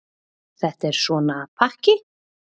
Þetta er svona pakki.